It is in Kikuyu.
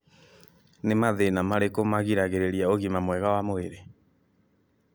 Ni mathĩna marĩku magiragĩrĩria ũgima mwega wa mwĩrĩ